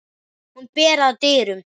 Hún ber að dyrum.